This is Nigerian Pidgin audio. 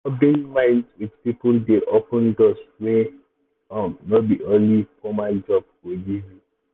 rubbing minds with people dey open doors wey um no be only formal job go give you. um